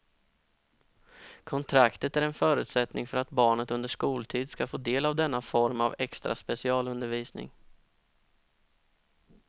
Kontraktet är en förutsättning för att barnet under skoltid ska få del av denna form av extra specialundervisning.